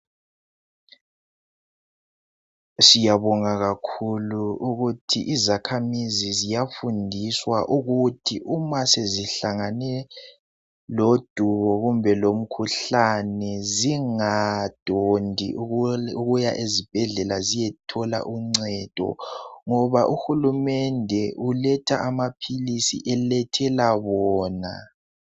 Siyabonga kakhulu ukuthi izakhamizi ziyafundiswa ukuthi uma sezihlangane lodubo kumbe lomkhuhlane zingadondi ukuya ezibhendlela ukuyathola uncedo ngoba uHulumende uletha amaphilisi elethela bona.